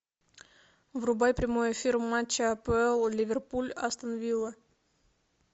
врубай прямой эфир матча апл ливерпуль астон вилла